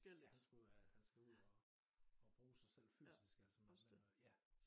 Ja han skal ud af ud og og bruge sig selv fysisk altså med med at ja